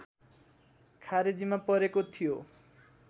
खारेजीमा परेको थियो